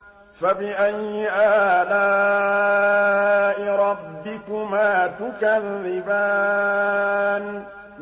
فَبِأَيِّ آلَاءِ رَبِّكُمَا تُكَذِّبَانِ